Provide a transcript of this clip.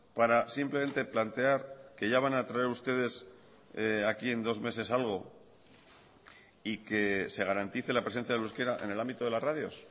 para simplemente plantear que ya van a traer ustedes aquí en dos meses algo y que se garantice la presencia del euskera en el ámbito de las radios